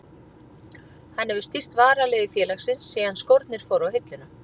Hann hefur stýrt varaliði félagsins síðan skórnir fóru á hilluna.